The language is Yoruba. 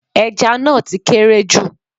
Ẹja náà ti kéré jù